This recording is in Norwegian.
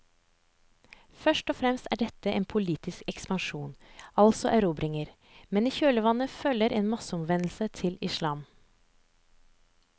Først og fremst er dette en politisk ekspansjon, altså erobringer, men i kjølvannet følger en masseomvendelse til islam.